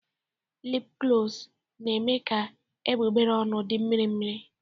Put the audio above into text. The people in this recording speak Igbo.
Lipglọs na-eme ka egbugbere ọnụ dị mmirimmiri.